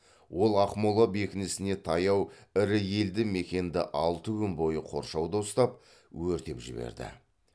ол ақмола бекінісіне таяу ірі елді мекенді алты күн бойы қоршауда ұстап өртеп жіберді